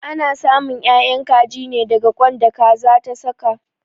Ana samun 'ya'yan kaji ne daga ƙwan da Kaza ta saka.